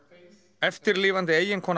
eftirlifandi eiginkona